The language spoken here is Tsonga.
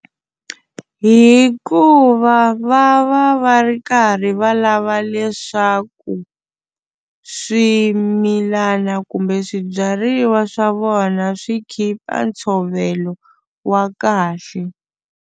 Hikuva va va va ri karhi va lava leswaku swimilana kumbe swibyariwa swa vona swi khipa ntshovelo wa kahle.